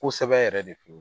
Kosɛbɛ yɛrɛ de f'i